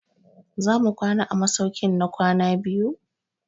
Za mu kwana a masaukin na kwana biyu?